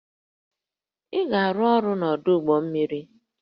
Ị ga-arụ ọrụ n'ọdụ ụgbọ mmiri!